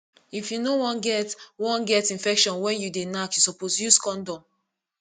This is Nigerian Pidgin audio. if you no wan get wan get infection when you dey knack you suppose use condom